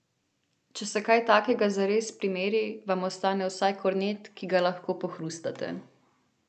Če se kaj takega zares primeri, vam ostane vsaj kornet, ki ga lahko pohrustate.